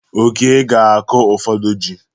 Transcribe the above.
Oke ga-akụ ụfọdụ ji.